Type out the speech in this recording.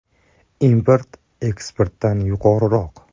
“Import eksportdan yuqoriroq.